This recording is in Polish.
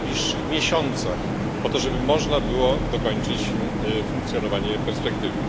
w najbliższych miesiącach, po to, żeby można było dokończyć funkcjonowanie perspektywy.